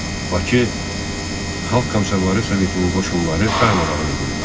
Bakı Xalq Komissarları Sovetinin qoşunları darmadağın edildi.